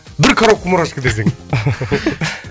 бір коробка мурашка десең